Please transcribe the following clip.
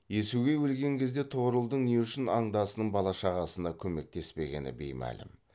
иесугей өлген кезде тұғырылдың не үшін андасының бала шағасына көмектеспегені беймәлім